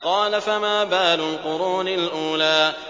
قَالَ فَمَا بَالُ الْقُرُونِ الْأُولَىٰ